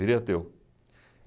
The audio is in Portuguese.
Virei ateu.